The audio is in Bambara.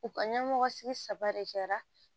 U ka ɲɛmɔgɔ sigi saba de kɛra